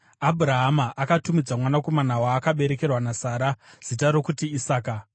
Abhurahama akatumidza mwanakomana waakaberekerwa naSara zita rokuti Isaka.